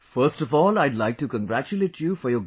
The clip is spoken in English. First of all I would like to congratulate you for your